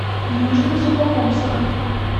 южно сухокумска